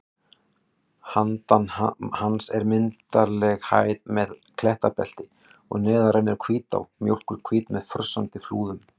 Handan hans er myndarleg hæð með klettabelti og neðar rennur Hvítá, mjólkurhvít með frussandi flúðum.